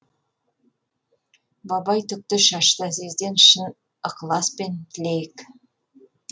бабай түкті шашты әзизден шын ықыласпен тілейік